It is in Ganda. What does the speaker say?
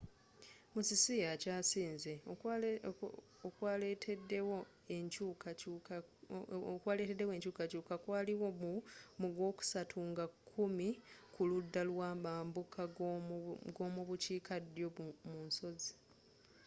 musisi akyasinze okwaletedewo enkyukakyuka kwaliwo mu gwokusatu nga kkumi ku ludda lwa mambukagomubukiika ddyo mu nsozi